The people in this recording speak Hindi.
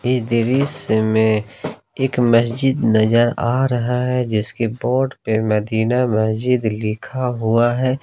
इस दृश्य में एक मस्जिद नजर आ रहा है जिसके बोर्ड पर मदीना मस्जिद लिखा हुआ है।